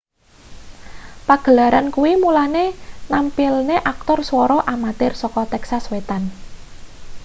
pagelaran kuwi mulane nampilne aktor swara amatir saka texas wetan